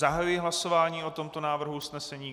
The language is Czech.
Zahajuji hlasování o tomto návrhu usnesení.